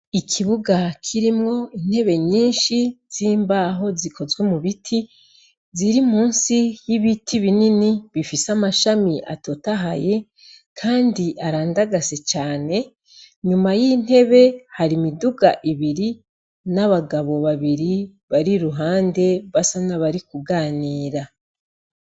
Ikibuga kirimwo intebe nyinshi z’imbaho zikozwe mubiti, ziri musi y’ibiti binini bifise amashami atotahaye Kandi arandagase cane, inyuma y’intebe har’imiduga ibiri n’abagabo babiri barir’uhande basa n’abari kuganira.